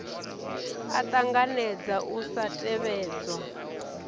a ṱanganedza u sa tevhedzwa